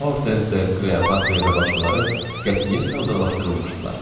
Hortense, Kleopatra və başqaları qətiyyətlə uzaqlaşdırılmışdılar.